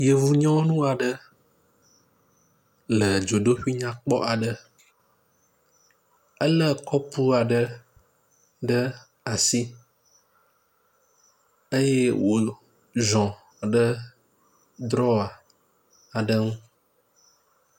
Yevunyɔnu aɖe le dzodoƒui nyakpɔ aɖe, elé kɔpu aɖe ɖe asi eye wòziɔ ɖe drɔwa aɖe ŋu.